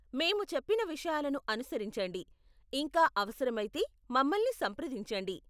మేము చెప్పిన విషయాలను అనుసరించండి, ఇంకా అవసరమైతే మమ్మల్ని సంప్రదించండి.